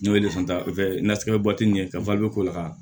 N'o ye ye ka k'o la